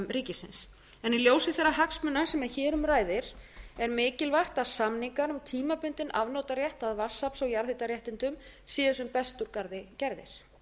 ríkisins í ljósi þeirra hagsmuna sem hér um ræðir er mikilvægt að samningar um tímabundinn afnotarétt að vatnsafls og jarðhitaréttindum séu sem best úr garði gerðir